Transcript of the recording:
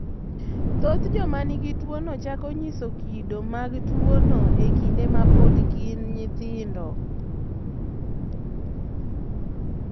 Thoth joma nigi tuwono chako nyiso kido mag tuwono e kinde ma pod gin nyithindo.